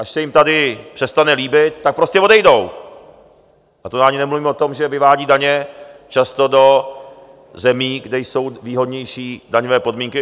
Až se jim tady přestane líbit, tak prostě odejdou, a to ani nemluvím o tom, že vyvádí daně často do zemí, kde jsou výhodnější daňové podmínky.